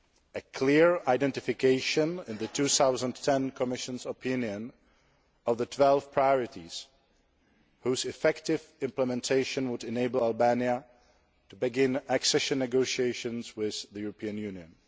a clear identification in the 2010 Commission opinion of the 12 priorities whose effective implementation would enable Albania to begin accession negotiations with the European Union.